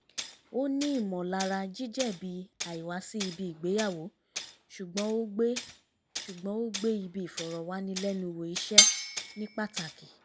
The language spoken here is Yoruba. ó ní ìmọ̀lara jíjẹ̀bi àìwá sí ibi ìgbéyàwó ṣùgbọ́n ó gbé ṣùgbọ́n ó gbé ibi ìfọ̀rọ̀wánilẹ́nuwò iṣẹ́ ní pátàkì